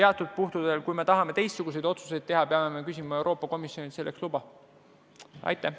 Aga kui me tahame teistsuguseid otsuseid teha, peame Euroopa Komisjonilt selleks luba küsima.